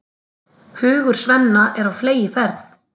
Hugur Svenna er á fleygiferð.